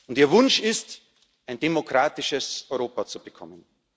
Und ihr Wunsch ist es, ein demokratisches Europa zu bekommen.